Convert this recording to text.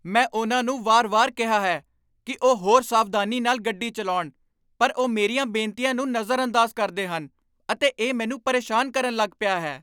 ਮੈਂ ਉਨ੍ਹਾਂ ਨੂੰ ਵਾਰ ਵਾਰ ਕਿਹਾ ਹੈ ਕੀ ਉਹ ਹੋਰ ਸਾਵਧਾਨੀ ਨਾਲ ਗੱਡੀ ਚਲਾਉਣ, ਪਰ ਉਹ ਮੇਰੀਆਂ ਬੇਨਤੀਆਂ ਨੂੰ ਨਜ਼ਰਅੰਦਾਜ਼ ਕਰਦੇ ਹਨ, ਅਤੇ ਇਹ ਮੈਨੂੰ ਪਰੇਸ਼ਾਨ ਕਰਨ ਲੱਗ ਪਿਆ ਹੈ